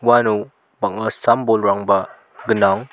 aro bang·a sam bolrangba gnang.